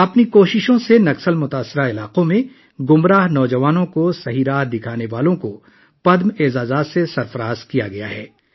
ان کی کوششوں کی وجہ سے نکسلیوں سے متاثرہ علاقوں میں گمراہ نوجوانوں کو صحیح راستہ دکھانے والوں کو پدم ایوارڈ سے نوازا گیا ہے